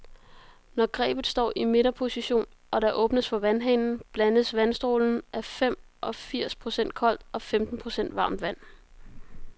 Når grebet står i midterposition, og der åbnes for vandhanen, blandes vandstrålen af fem og firs procent koldt og femten procent varmt vand.